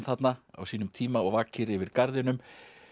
þarna á sínum tíma og vakir yfir garðinum